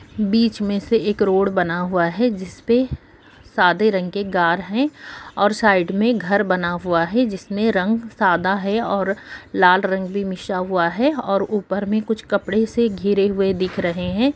बीच में से एक रोड बना हुआ है जिसपे सादे रंग के गर हैं और साइड में घर बना हुआ है जिसमें रंग सादा है और लाल रंग भी मिशा हुआ है और ऊपर में कुछ कपड़े से घिरे हुए दिख रहे हैं।